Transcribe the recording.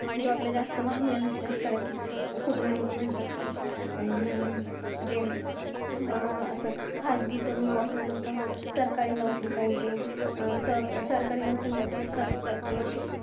Job ला जास्त मागण्या नसतात. कारण कि, खूप जण म्हणतात कि, अं जे अं आता खाजगीत तर नको, त असं नाही का, सरकारी नोकरी पाहिजे. त अं सरकारी नोकरीमध्ये असं असतं कि,